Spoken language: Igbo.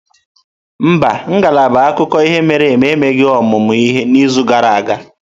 Mba, ngalaba akụkọ ihe mere eme emeghị ọmụmụ ihe n'izu gara aga.